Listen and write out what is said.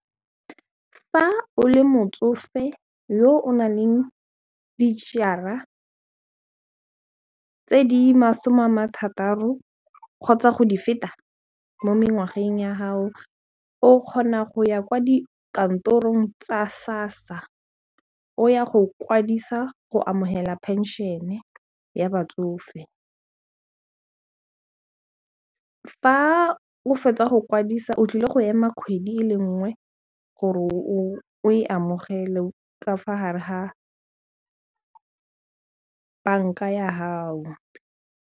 Fa o le motsofe yo o nang le dijara tse di masome ama thataro kgotsa go di feta mo mengwaga teng ya gago o kgona go ya kwa dikantorong tsa sassa o ya go kwadisa go amogelwa phensene ya batsofe fa o fetsa go kwadisa o tlile go ema kgwedi e le nngwe gore o e amogele ka fa gare ga banka ya gago.